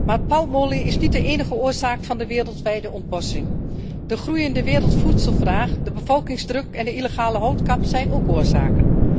Maar palmolie is niet de enige oorzaak van de wereldwijde ontbossing. De groeiende wereldvoedselvraag, de bevolkingsdruk en de illegale houtkap zijn ook oorzaken.